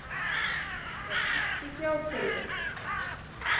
Er ekki fjárþurfi.